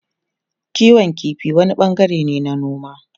Kiwon kifi wani bangare ne na noma.